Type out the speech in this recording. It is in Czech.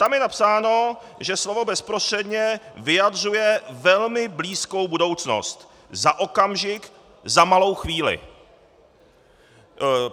Tam je napsáno, že slovo bezprostředně vyjadřuje velmi blízkou budoucnost, za okamžik, za malou chvíli.